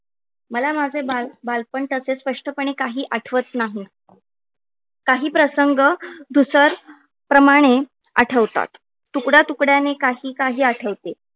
मला माझे बालपण तसे स्पष्टपणे काही आठवत नाही. काही प्रसंग धूसर प्रमाणे आठवतात. तुकडय़ा तुकडय़ाने काही काही आठवते.